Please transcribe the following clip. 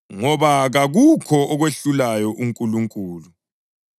Ngoba kakukho okwehlulayo kuNkulunkulu.”